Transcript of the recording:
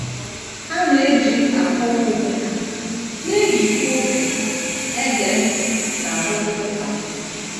Ha na - eji akọwa onwe ha, na - ejikwa obi ege ntị n’arụmụka m. ”